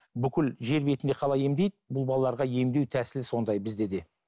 бүкіл жер бетінде қалай емдейді бұл балаларға емдеу тәсілі сондай бізде де